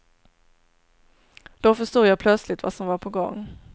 Då förstod jag plötsligt vad som var på gång.